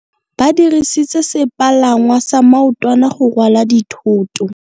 Ba dirisitse sepalangwasa maotwana go rwala dithôtô.